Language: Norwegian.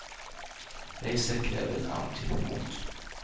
Reiser krever en annen type mot.